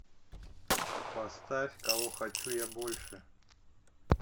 поставь кого хочу я больше